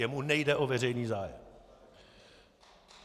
Jemu nejde o veřejný zájem!